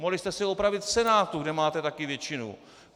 Mohli jste si ho upravit v Senátu, kde máte taky většinu!